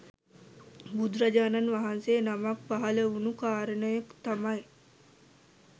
බුදුරජාණන් වහන්සේ නමක් පහළ වුණ කාරණය තමයි